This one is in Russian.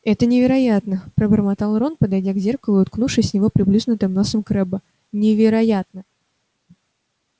это невероятно пробормотал рон подойдя к зеркалу и уткнувшись в него приплюснутым носом крэбба невероятно